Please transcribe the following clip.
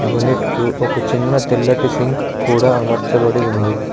Unit కు ఒక చిన్న తెల్లటి సింక్ కూడా అమర్చబడి ఉంది.